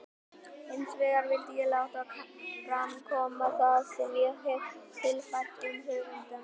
Hinsvegar vildi ég láta fram koma það sem ég hefi tilfært um höfundana.